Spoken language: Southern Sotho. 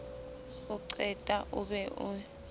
o qeta o be o